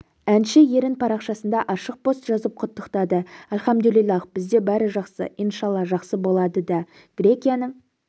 әнші ерін парақшасында ашық пост жазып құттықтады әлхамдулиллах бізде барі жаксы иншалла жақсы болады да грекияның